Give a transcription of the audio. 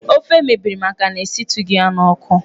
Ofe mebiri maka na esitụghị ya n'ọkụ